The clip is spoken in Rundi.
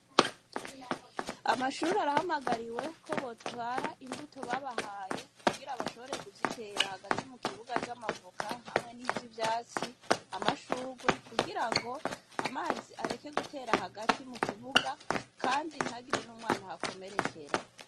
Amashuri arahamagariwe ko botwara imbuto babahaye kugira bashoboreye kuzitera hagati mu kibuga z'amavuka hamwe n'izo ivyatsi amashurwe kugira ngo amazi areke gutera hagati mu kibuga, kandi ntagire n'umwana hakomerekera.